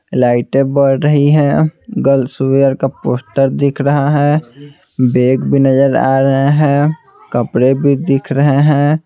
लाइटें बढ़ रही हैं गर्ल्स वेयर का पोस्टर दिख रहा है बैग भी नज़र आ रहे हैं कपड़े भी दिख रहे हैं।